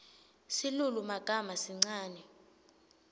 silulumagama sincane